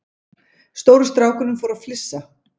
Stóri strákurinn fór að flissa.